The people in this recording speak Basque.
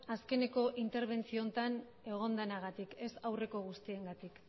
azkeneko interbentzio honetan egon denagatik ez aurreko guztiengatik